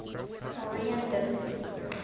mauryan dynasty